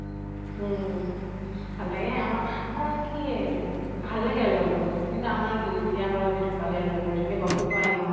উম ভাল লাগে আমাৰ আমাৰ মানে কি য়ে ভাল লাগে আৰু জন্তু। কিন্তু যিতিয়া আমাৰ জনী ঢুকালে আৰু মেকুৰী জনী, গম টো পোৱাই ন